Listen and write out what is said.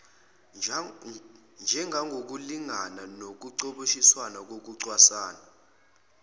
njengokulingana nokucoboshiswa kokucwaswa